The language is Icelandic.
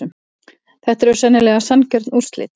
Þetta eru sennilega sanngjörn úrslit.